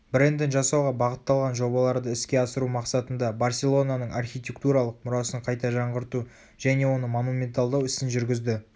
брендін жасауға бағытталған жобаларды іске асыру мақсатында барселонаның архитектуралық мұрасын қайта жаңғырту және оны монументалдау ісін жүргізді